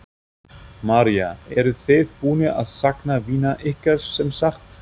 María: Eruð þið búnir að sakna vina ykkar, sem sagt?